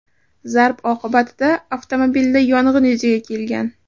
Zarb oqibatida avtomobilda yong‘in yuzaga kelgan.